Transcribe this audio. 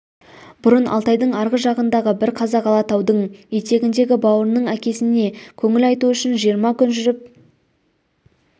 бұрын алтайдың арғы жағындағы бір қазақ алатаудың етегіндегі бауырының әкесіне көңіл айту үшін жиырма күн жүріп